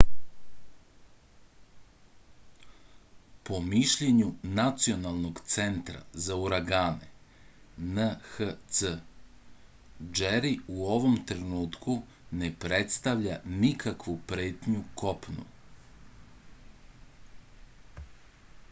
по мишљењу националног центара за урагане nhc џери у овом тренутку не представља никакву претњу копну